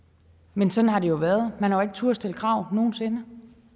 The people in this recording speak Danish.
men sådan har det jo været man har ikke turdet stille krav nogen sinde